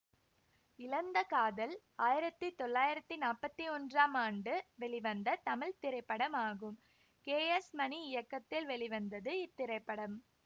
இழந்த காதல் ஆயிரத்தி தொள்ளாயிரத்தி நாப்பத்தி ஒன்றாம் ஆண்டு வெளிவந்த தமிழ் திரைப்படமாகும் கே எஸ் மணி இயக்கத்தில் வெளிவந்தது இத்திரைப்படம்